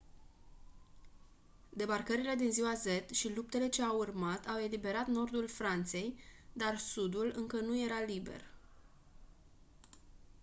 debarcările din ziua z și luptele ce au urmat au eliberat nordul franței dar sudul încă nu era liber